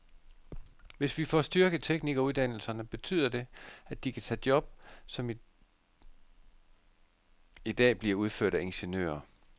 Hvis vi får styrket teknikeruddannelserne, betyder det, at de kan tage job, som i dag bliver udført af ingeniører.